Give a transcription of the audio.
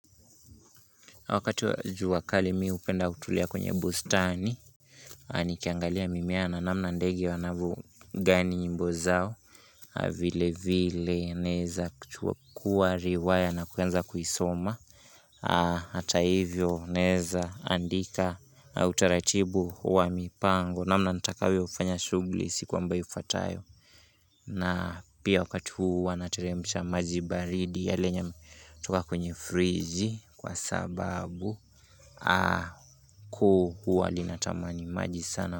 Wakati wa jua kali mi hupenda kutulia kwenye bustani Nikiangalia mimea na namna ndege wanavyo gani nyimbo zao vile vile naeza kuchukua riwaya na kuanza kuisoma Hata hivyo naeza andika utaratibu wa mipango namna nitakayofanya shughuli siku ambayo ifatayo na pia wakati huu huwa nateremsha maji baridi yaliyo toka kwenye friji kwa sababu kuu huwa ninatamani maji sana.